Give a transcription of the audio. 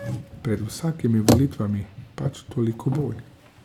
Pred vsakimi volitvami pač toliko bolj.